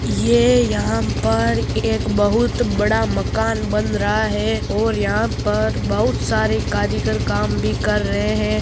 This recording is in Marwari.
ये यह पर एक बहुत बड़ा मकान बन रहा हैं और यह पर बहुत सारे कारीगर काम भी कर रहे है।